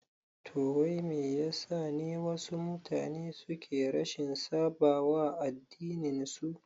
Toh wai Me yasa ne wasu mutane suke rashin saɓawa addinin su?